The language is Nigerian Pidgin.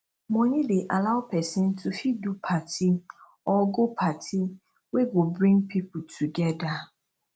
money de allow persin to fit do party or go party wey go bring pipo together